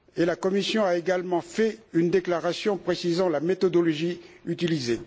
La Commission a également fait une déclaration précisant la méthodologie utilisée.